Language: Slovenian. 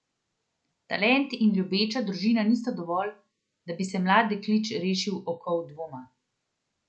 Talent in ljubeča družina nista dovolj, da bi se mlad deklič rešil okov dvoma.